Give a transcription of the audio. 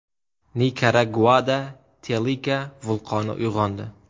Nikaraguada Telika vulqoni uyg‘ondi.